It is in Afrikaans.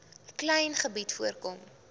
klein gebied voorkom